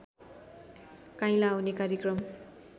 काइँला आउने कार्यक्रम